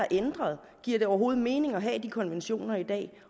ændret giver det overhovedet mening at have de konventioner i dag